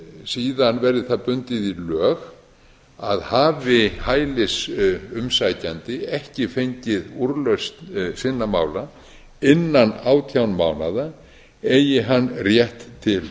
síðan verði það bundið í lög að hafi hælisumsækjandi ekki fengið úrlausn sinna mála innan átján mánaða eigi hann rétt til